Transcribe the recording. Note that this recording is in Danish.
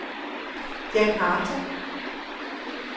Djakarta